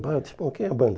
quem é a banda?